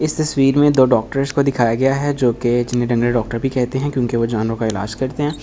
इस तस्वीर में दो डॉक्टर्स को दिखाया गया है जो कि डॉक्टर भी कहते हैं क्योंकि वो जानवरो का इलाज करते हैं वो दोनों --